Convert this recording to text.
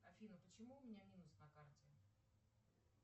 афина почему у меня минус на карте